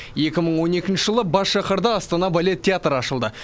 екі мың он екінші жылы бас шаһарда астана балет театры ашылды